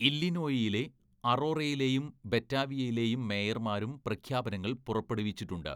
ഇല്ലിനോയിയിലെ അറോറയിലെയും ബറ്റാവിയയിലെയും മേയർമാരും പ്രഖ്യാപനങ്ങൾ പുറപ്പെടുവിച്ചിട്ടുണ്ട്.